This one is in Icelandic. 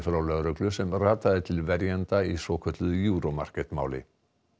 frá lögreglu sem rataði til verjanda í svokölluðu Euro Market máli